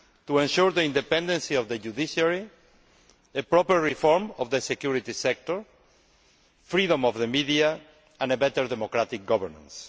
and ensure the independence of the judiciary, a proper reform of the security sector, freedom of the media and better democratic governance.